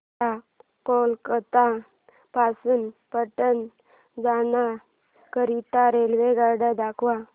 मला कोलकता पासून पटणा जाण्या करीता रेल्वेगाड्या दाखवा